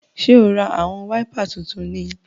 Ṣe o rá awọn waipà títún ní?